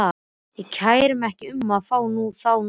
Ég kæri mig ekki um að fá þá núna.